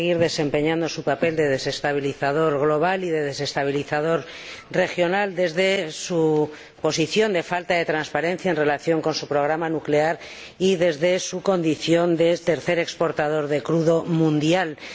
Va a seguir desempeñando su papel de desestabilizador global y de desestabilizador regional desde su posición de falta de transparencia en relación con su programa nuclear y desde su condición de tercer exportador mundial de crudo.